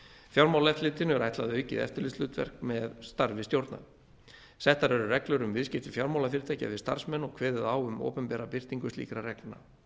fjármálaeftirlitinu er ætlað aukið eftirlitshlutverk með starfi stjórna settar eru reglur um viðskipti fjármálafyrirtækja við starfsmenn og kveðið á um opinbera birtingu slíkra reglna